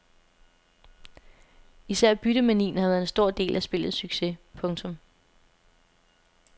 Især byttemanien har været en stor del af spillets succes. punktum